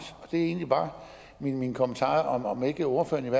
det er egentlig bare min kommentar altså om ikke ordføreren